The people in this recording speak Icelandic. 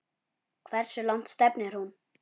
Hversu langt stefnir hún?